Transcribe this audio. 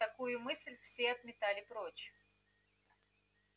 такую мысль все отметали прочь